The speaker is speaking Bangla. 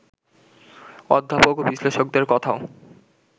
অধ্যাপক ও বিশ্লেষকদের কথাও